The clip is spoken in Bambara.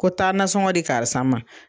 Ko taa nasɔngɔ di karisa ma.